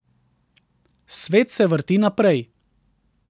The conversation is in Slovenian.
Svet se vrti naprej.